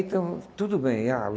Então, tudo bem, ah.